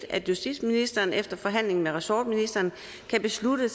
at justitsministeren efter forhandling med ressortministeren kan beslutte